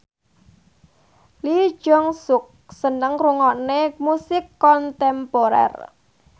Lee Jeong Suk seneng ngrungokne musik kontemporer